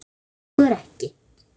Slíkt gengur ekki.